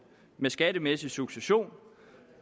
med skattemæssig succession